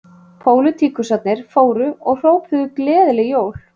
Pólitíkusarnir fóru og hrópuðu gleðileg jól